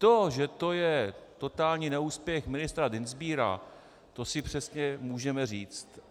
To, že to je totální neúspěch ministra Dienstbiera, to si přesně můžeme říct.